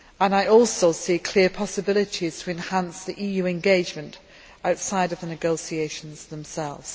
I also see clear possibilities to enhance the EU engagement outside the negotiations themselves.